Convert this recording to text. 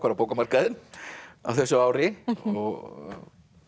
á bókamarkaðinn á þessu ári og